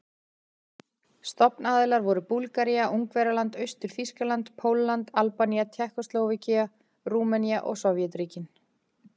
Stofnaðilar voru Búlgaría, Ungverjaland, Austur-Þýskaland, Pólland, Albanía, Tékkóslóvakía, Rúmenía og Sovétríkin.